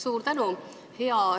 Suur tänu!